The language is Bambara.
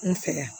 N fɛ yan